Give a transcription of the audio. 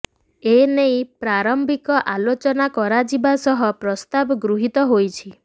ଏନେଇ ପ୍ରାରମ୍ଭିକ ଆଲୋଚନା କରାଯିବା ସହ ପ୍ରସ୍ତାବ ଗୃହୀତ ହୋଇଛି